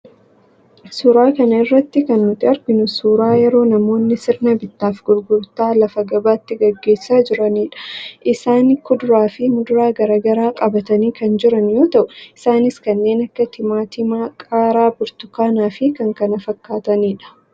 Suuraa kana irratti kan nuti arginu suuraa yeroo namoonni sirna bittaa fi gurgurtaa lafa gabaatti geggeessaa jiranidha. Isaani kuduraa fi muduraa gara garaa qabatanii kan jiran yoo ta'u, isaanis kanneen akka: timaatimaa, qaaraa, burtukaanaa fi kan kana fakkaatanidha.